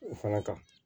O fana kan